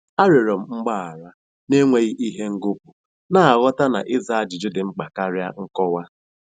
Arịọrọ m gbaghara n'enweghị ihe ngọpụ, na-aghọta na ịza ajụjụ dị mkpa karịa nkọwa.